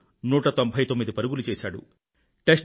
రాహుల్ 199 పరుగులు చేశాడు